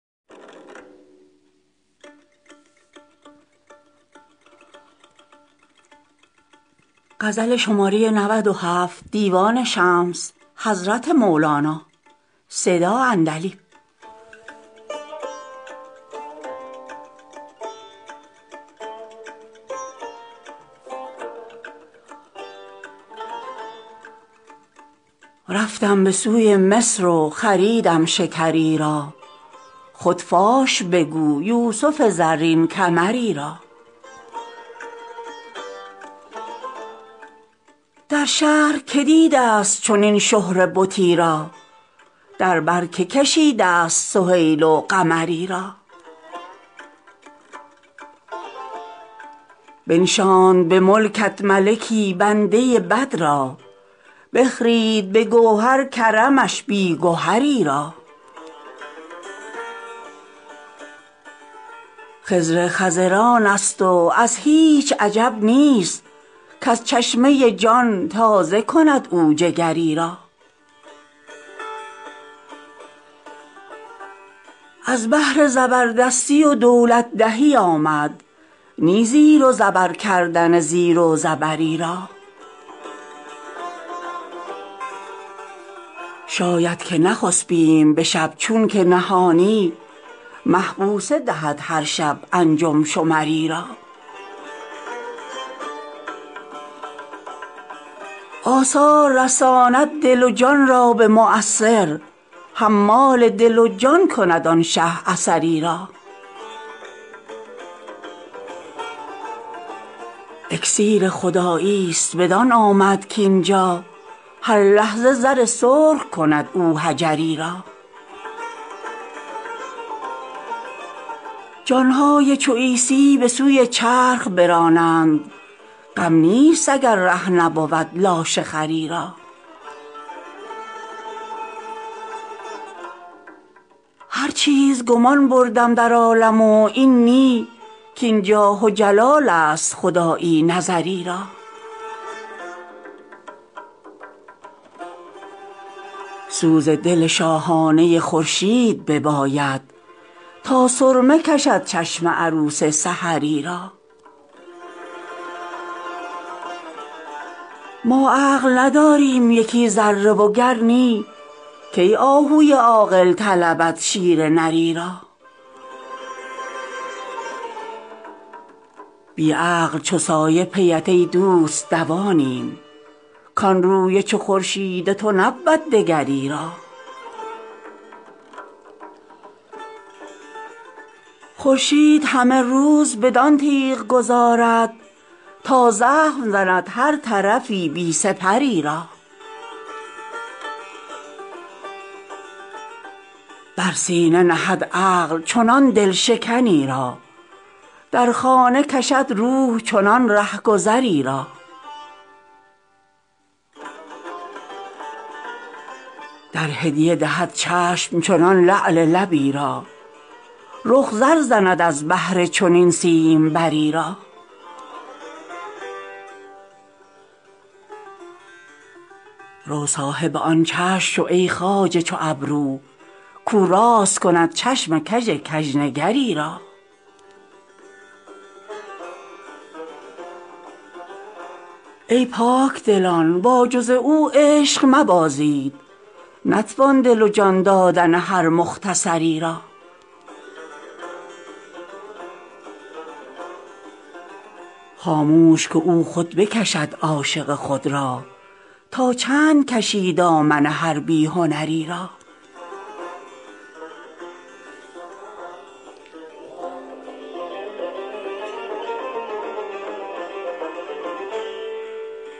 رفتم به سوی مصر و خریدم شکری را خود فاش بگو یوسف زرین کمری را در شهر که دیده ست چنین شهره بتی را در بر که کشیده ست سهیل و قمری را بنشاند به ملکت ملکی بنده بد را بخرید به گوهر کرمش بی گهری را خضر خضرانست و ازو هیچ عجب نیست کز چشمه جان تازه کند او جگری را از بهر زبردستی و دولت دهی آمد نی زیر و زبر کردن زیر و زبری را شاید که نخسپیم به شب چون که نهانی مه بوسه دهد هر شب انجم شمری را آثار رساند دل و جان را به مؤثر حمال دل و جان کند آن شه اثری را اکسیر خداییست بدان آمد کاین جا هر لحظه زر سرخ کند او حجری را جان های چو عیسی به سوی چرخ برانند غم نیست اگر ره نبود لاشه خری را هر چیز گمان بردم در عالم و این نی کاین جاه و جلالست خدایی نظری را سوز دل شاهانه خورشید بباید تا سرمه کشد چشم عروس سحری را ما عقل نداریم یکی ذره وگر نی کی آهوی عاقل طلبد شیر نری را بی عقل چو سایه پیت ای دوست دوانیم کان روی چو خورشید تو نبود دگری را خورشید همه روز بدان تیغ گذارد تا زخم زند هر طرفی بی سپری را بر سینه نهد عقل چنان دل شکنی را در خانه کشد روح چنان رهگذی را در هدیه دهد چشم چنان لعل لبی را رخ زر زند از بهر چنین سیمبری را رو صاحب آن چشم شو ای خواجه چو ابرو کاو راست کند چشم کژ کژنگری را ای پاک دلان با جز او عشق مبازید نتوان دل و جان دادن هر مختصری را خاموش که او خود بکشد عاشق خود را تا چند کشی دامن هر بی هنری را